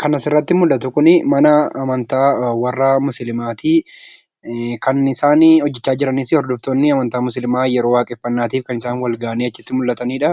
Kan asirratti mul'atu kun mana amantaa kan warra musliimaa ti. Kan isaan hojjechaa jiranis hordoftoonni amantaa musliimaa kan isaan wal gahanii mul'atanidha.